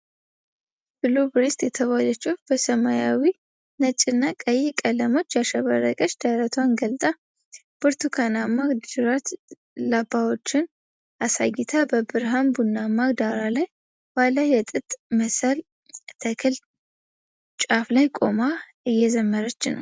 ብሉብሬስት የተባለች ወፍ በሰማያዊ፣ ነጭና ቀይ ቀለሞች ያሸበረቀ ደረቷን ገልጣ፣ ብርቱካናማ ጅራት ላባዎቿን አሳይታ፣ በብርሃን ቡናማ ዳራ ላይ ባለ የጥጥ መሰል ተክል ጫፍ ላይ ቆማ እየዘመረች ነው።